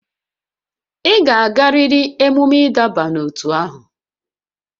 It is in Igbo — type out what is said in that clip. Ị ga-agarịrị emume ịdọba n'ótú ahụ!